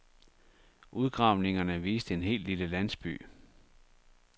Udgravningerne viste en hel lille landsby.